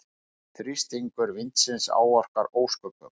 Þrýstingur vindsins áorkar ósköpum.